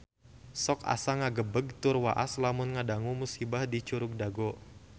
Sok asa ngagebeg tur waas lamun ngadangu musibah di Curug Dago